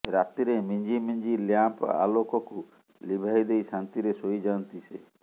ରାତିରେ ମିଞ୍ଜି ମିଞ୍ଜି ଲ୍ୟାମ୍ପ ଆଲେକକୁ ଲିଭାଇ ଦେଇ ଶାନ୍ତିରେ ଶୋଇ ଯାଆନ୍ତି ସେ